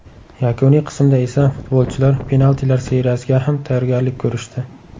Yakuniy qismda esa, futbolchilar penaltilar seriyasiga ham tayyorgarlik ko‘rishdi.